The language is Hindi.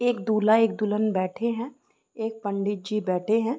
एक दूल्हा एक दुल्हन बैठे हैं। एक पंडित जी बैठे है।